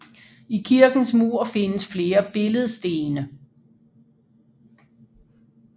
I kirkens mur findes flere billedstene